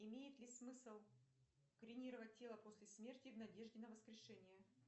имеет ли смысл кремировать тело после смерти в надежде на воскрешение